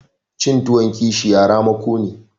Cin tuwon kishiya ramako ne.